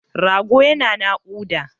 Rago yana naƙuda.